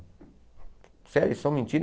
Sério, eles estão mentindo.